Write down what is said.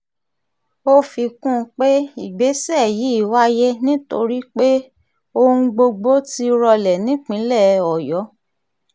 ó fi kún un pé ìgbésẹ̀ yìí wáyé nítorí pé ohun gbogbo ti rọlẹ̀ nípìnlẹ̀ ọ̀yọ́